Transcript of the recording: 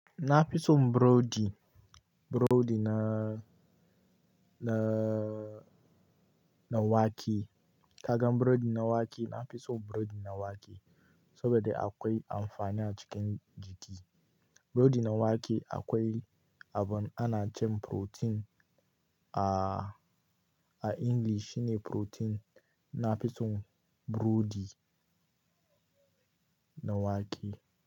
Na fi son burodi, burodi na, na, na wake. Kagan burodi na wake, na fi so burodi na wake saboda akwai amfani a cikin jiki. Burodi na wake akwai abin ana ce protein a, a English shine protein. Na fi son burodi na wake.